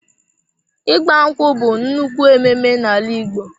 ịgbankwụ bú nnukwu ememe na ala Ìgbo.